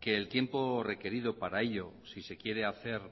que el tiempo requerido para ello si se quiere hacer